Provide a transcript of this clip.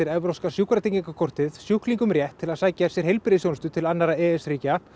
evrópska sjúkratryggingakortið sjúklingum rétt til að sækja sér heilbrigðisþjónustu til annarra aðildarríkja e s